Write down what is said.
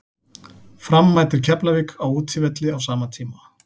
Fram mætir Keflavík á útivelli á sama tíma.